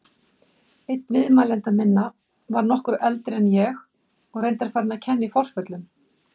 Einn viðmælenda minna var nokkru eldri en ég og reyndar farinn að kenna í forföllum.